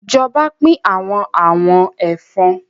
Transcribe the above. Ìjọba pín awọn àwọn ẹ̀fọn.